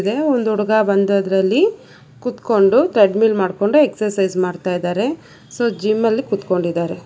ಇದೆ ಒಂದುಡುಗ ಬಂದ್ ಅದರಲ್ಲಿ ಕುತ್ಕೊಂಡು ಟ್ರೆಡ್ಮಿಲ್ ಮಾಡ್ಕೊಂಡು ಎಕ್ಸರ್ಸೈಜ್ ಮಾಡ್ತಾ ಇದ್ದಾರೆ ಸೊ ಜಿಮ್ ಅಲ್ಲಿ ಕೂತ್ಕೊಂಡಿದ್ದಾರೆ.